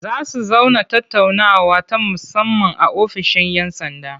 Za su zauna tattaunawa ta musamman a ofishin 'yan sanda.